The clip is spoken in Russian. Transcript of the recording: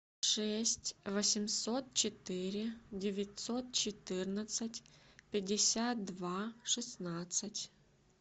шесть восемьсот четыре девятьсот четырнадцать пятьдесят два шестнадцать